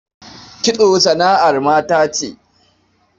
Kitso sana'ar mata ce.